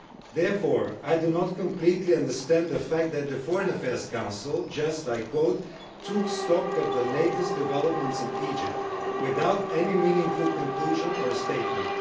Therefore, I do not completely understand the fact that the Foreign Affairs Council just, I quote, took stock of the latest developments in Egypt without any meaningful conclusion or statement'.